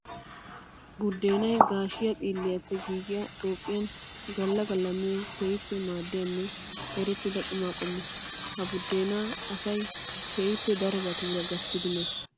Buddeenay gaashshiya xilliyappe giigiya Toophphiyan gala gala miyo keehippe maadiyanne erettidda qumma qommo. Ha buddenna asay keehippe darobatuura gattiddi meesi.